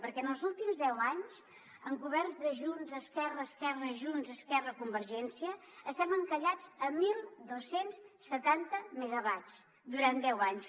perquè en els últims deu anys amb governs de junts esquerra esquerra junts esquerra convergència estem encallats a dotze setanta megawatts durant deu anys